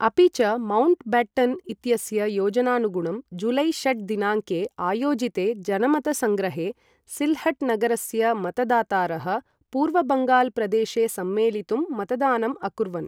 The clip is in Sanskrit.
अपि च मौण्ट् बेट्टन् इत्यस्य योजनानुगुणं जुलै षट् दिनाङ्के आयोजिते जनमतसङ्ग्रहे सिल्हट् नगरस्य मतदातारः पूर्वबङ्गाल् प्रदेशे सम्मेलितुं मतदानम् अकुर्वन्।